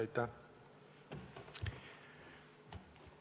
Aitäh!